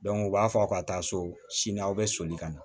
u b'a fɔ ka taa so sini aw bɛ soli ka na